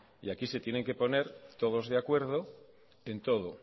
y aquí se tienen que poner todos de acuerdo en todo